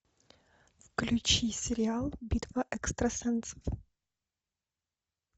включи сериал битва экстрасенсов